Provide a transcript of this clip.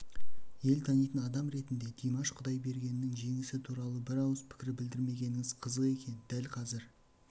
ел танитын адам ретінде димаш құдайбергеннің жеңісі туралы бір ауыз пікір білдірмегеніңіз қызық екен дәл қазір